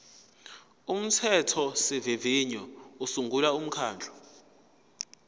umthethosivivinyo usungula umkhandlu